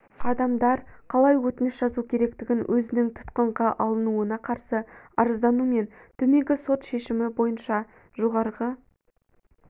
адамдар қалай өтініш жазу керектігін өзінің тұтқынға алынуына қарсы арыздану мен төменгі сот шешімі бойынша жоғарғы